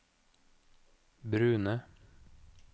brune